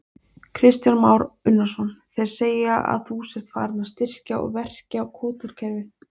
Kristján Már Unnarsson: Þeir segja að þú sért farinn að styrkja og verkja kvótakerfið?